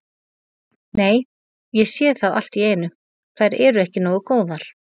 Nei, ég sé það allt í einu, þær eru ekki nógu góðar